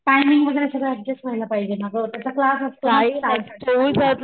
timing वैगरे सगळ adjust व्हायला पाहिजे ना ग त्याचा क्लास असतो ना ग,